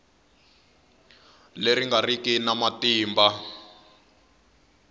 leyi nga riki na matimba